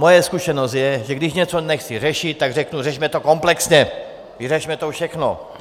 Moje zkušenost je, že když něco nechci řešit, tak řeknu řešme to komplexně, vyřešme to všechno.